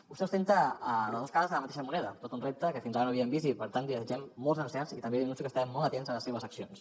vostè ostenta les dos cares de la mateixa moneda tot un repte que fins ara no havíem vist i per tant li desitgem molts encerts i també li anuncio que estarem molt atents a les seves accions